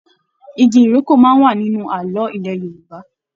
Ìgi ìrókò máa n wà nínú ààlọ́ ilẹ Yorùbá.